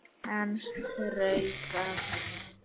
Hann strauk af